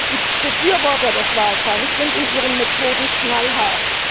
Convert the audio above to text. Die Befürworter des Walfangs sind in ihren Methoden knallhart.